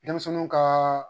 Denmisɛnninw kaa